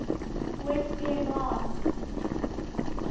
west des moines